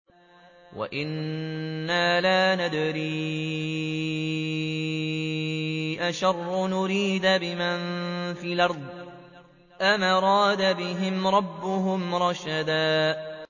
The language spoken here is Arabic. وَأَنَّا لَا نَدْرِي أَشَرٌّ أُرِيدَ بِمَن فِي الْأَرْضِ أَمْ أَرَادَ بِهِمْ رَبُّهُمْ رَشَدًا